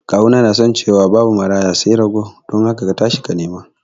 kawuna yana ciwa babu Maraya sai rago dun haka katashi ka nima